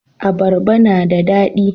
abarba na da dadi